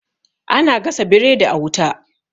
ana gasa biredi a wuta